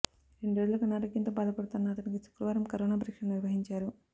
రెండు రోజులుగా అనారోగ్యంతో బాధపడుతోన్న అతనికి శుక్రవారం కరోనా పరీక్ష నిర్వహించారు